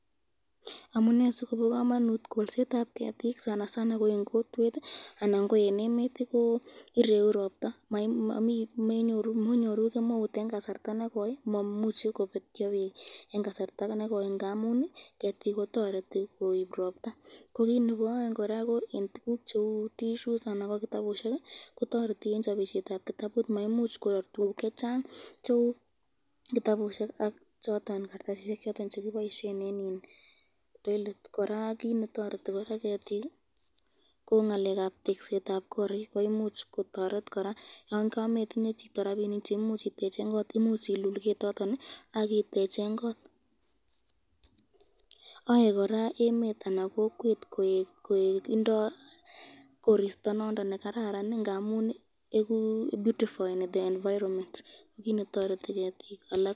Amune sikobo kamanut kolsetab ketik ,ko ireu robta, toreti eng chabisyetab tissues ,ak kitabusyek, toreti eng ngalekab teksetab korik,